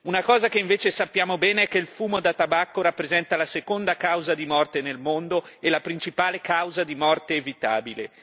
Una cosa che invece sappiamo bene è che il fumo da tabacco rappresenta la seconda causa di morte nel mondo e la principale causa di morte evitabile.